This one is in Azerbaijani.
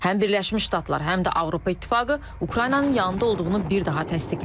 Həm Birləşmiş Ştatlar, həm də Avropa İttifaqı Ukraynanın yanında olduğunu bir daha təsdiqləyir.